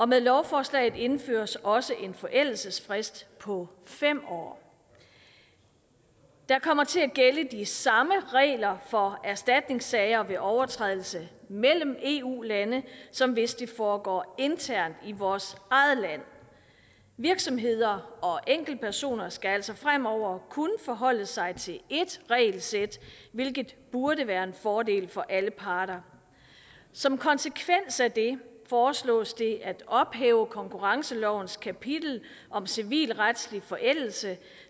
med lovforslaget indføres også en forældelsesfrist på fem år der kommer til at gælde de samme regler for erstatningssager om overtrædelse mellem eu lande som hvis det foregår internt i vores eget land virksomheder og enkeltpersoner skal altså fremover kun forholde sig til ét regelsæt hvilket burde være en fordel for alle parter som konsekvens af det foreslås det at ophæve konkurrencelovens kapitel om civilretslig forældelse